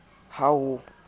ha ho ne ho itswe